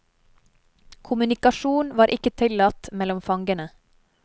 Kommunikasjon var ikke tillatt mellom fangene.